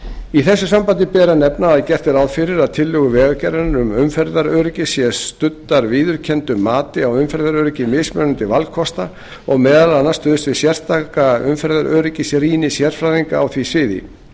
í þessu sambandi ber að nefna að gert er ráð fyrir að tillögur vegagerðarinnar um umferðaröryggi séu studdar viðurkenndu mati á umferðaröryggi mismunandi valkosta og meðal annars stuðst við sérstaka umferðaröryggisrýni sérfræðinga á því sviði